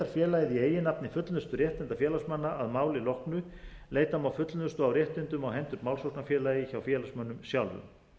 félagið í eigin nafni fullnustu réttinda félagsmanna að máli loknu leita má fullnustu á réttindum á hendur málsóknarfélagi hjá félagsmönnum sjálfum